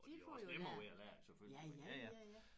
Og de har også nemmere ved at lære det selvfølgelig men ja ja